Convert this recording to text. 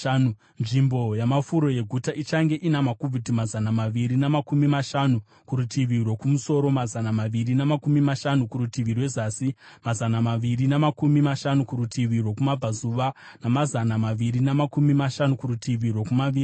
Nzvimbo yamafuro yeguta ichange ina makubhiti mazana maviri namakumi mashanu kurutivi rwokumusoro, mazana maviri namakumi mashanu kurutivi rwezasi, mazana maviri namakumi mashanu kurutivi rwokumabvazuva, namazana maviri namakumi mashanu kurutivi rwokumavirira.